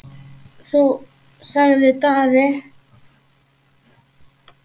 Þú, sagði Daði.